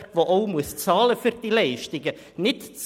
Letzteres muss für die Leistungen auch bezahlen.